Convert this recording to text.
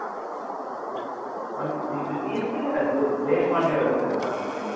ஆஹ் இப்போ CSK ல தேஷ்பாண்டேன்னு ஒருத்தன் இருக்கான் தெரியுமா